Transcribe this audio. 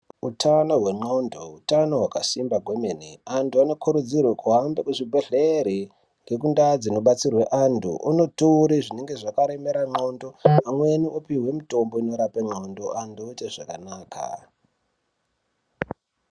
Utano hwen'ondo utano hwakasimba kwemene antu anokurudzirwe kuhambe kuzvibhedhlere nekundaa dzinobetserwe antu anotore zvinenga zvakaremera n'ondo amweni onopihwe zvinorape n'ondo antu oite zvakanaka.